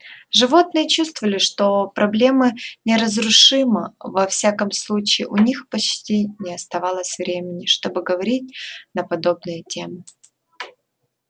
животные чувствовали что проблема неразрушима во всяком случае у них почти не оставалось времени чтобы говорить на подобные темы